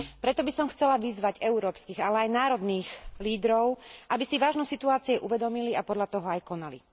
Preto by som chcela vyzvať európskych, ale aj národných lídrov, aby si vážnosť situácie uvedomili a podľa toho aj konali.